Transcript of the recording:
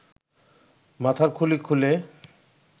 মাথার খুলি খুলে